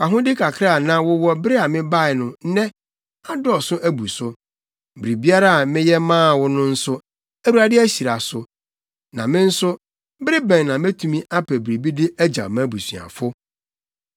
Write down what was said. Wʼahode kakra a na wowɔ bere a mebae no, nnɛ, adɔɔso abu so. Biribiara a meyɛ maa wo no nso, Awurade ahyira so. Na me nso, bere bɛn na metumi apɛ biribi de agyaw mʼabusuafo?”